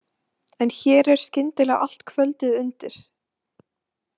En hér er skyndilega allt kvöldið undir.